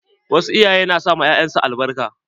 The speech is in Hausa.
Wasu iyayen na sa ma 'ya'yan su albarka.